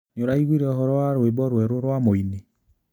Nĩũraiguire ũhoro wa rwĩmbo rwerũ rwa mũini?